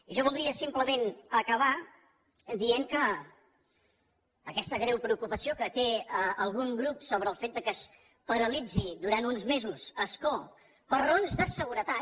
jo voldria simplement acabar dient que aquesta greu preocupació que té algun grup sobre el fet que es paralitzi durant uns mesos ascó per raons de seguretat